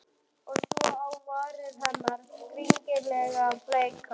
Og svo á varir hennar, skringilega bleikar.